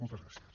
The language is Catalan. moltes gràcies